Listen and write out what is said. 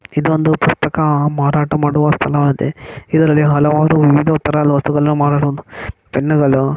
ಇದೊಂದು ಪುಸ್ತಕ ಮಾರಾಟ ಮಾಡುವ ಸ್ಥಳವಾಗಿದೆ ಇದರಲ್ಲಿ ಹಲವಾರು ವಿವಿದ ತರಾದ ವಸ್ತುಗಳು ಮಾರಾಟ ಪೆನ್ನುಗಳು --